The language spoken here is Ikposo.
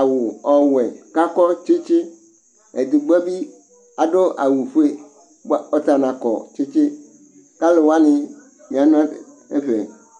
awʋ ɔwɛ kakɔ tsɩtsɩ ,edigboe bɩ adʋ awʋ fue ,bʋa ɔta nakɔ tsɩtsɩ K' alʋ wanɩ ya nʋ ɛfɛ